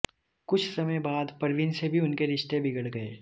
कुछ समय बाद परवीन से भी उनके रिश्ते बिगड़ गए